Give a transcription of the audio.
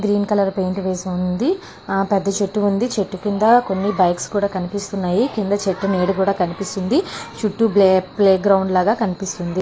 Green colour paint వేసి ఉంది. పెద్ద చెట్టు ఉంది. ఆ చెట్టు కింద కొన్ని బైక్స్ కూడా కనిపిస్తూ ఉన్నాయి. చెట్టు నీడ కూడా కనిపిస్తూ ఉంది. చుట్టూ ప్లే గ్రౌండ్ లాగా కనిపిస్తుంది.